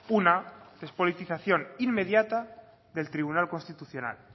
una despolitización inmediata del tribunal constitucional